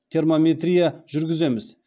термометрия жүргіземіз